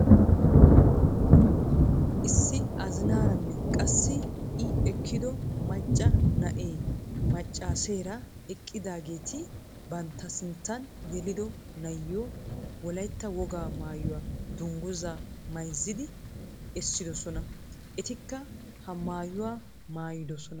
Issi azinaaranne qassi i ekkido macca na'ee machcheera eqqidaageti bantta sinttaan yelido na'iyoo wollaytta wogaa mayuwaa dungguzaa maayizidi essidoosona. etikka haa mayuwaa maayidoosona.